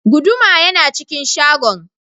Guduma yana cikin shagon.